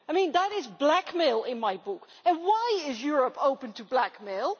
That is blackmail in my book and why is Europe open to blackmail?